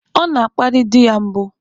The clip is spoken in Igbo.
Ọ na-akparị di ya mbụ.